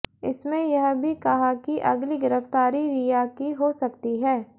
इसमें यह भी कहा कि अगली गिरफ्तारी रिया की हो सकती है